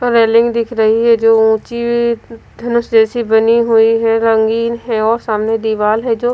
railing दिख रही है जो ऊंची धनुष जैसी बनी हुई है रंगीन है और सामने दीवाल है जो--